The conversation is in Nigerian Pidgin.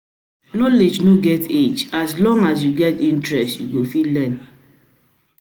Knowledge no get age; as long as you get interest, you go fit learn.